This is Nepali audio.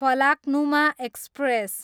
फलाक्नुमा एक्सप्रेस